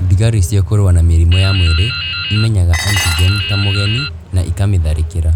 Thigari cia kũrũa na mĩrimũ ya mwĩrĩ, imenyaga antigen ta mũgeni na ĩkamatharĩkĩra.